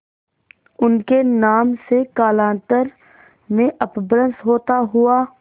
उनके नाम से कालांतर में अपभ्रंश होता हुआ